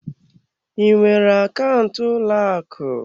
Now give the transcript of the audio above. Ị nwere akaụntụ ụlọ akụ?